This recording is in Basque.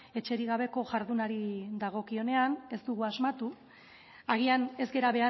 etxerik gabeko jardunari dagokionean ez dugu asmatu agian ez gara